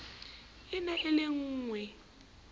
e ne e le lengwee